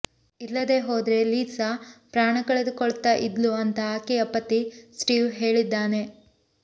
ಇಲ್ಲದೇ ಹೋದ್ರೆ ಲಿಸಾ ಪ್ರಾಣಕಳೆದುಕೊಳ್ತಾ ಇದ್ಲು ಅಂತಾ ಆಕೆಯ ಪತಿ ಸ್ಟೀವ್ ಹೇಳಿದ್ದಾನೆ